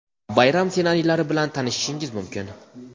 bayram ssenariylari bilan tanishishingiz mumkin.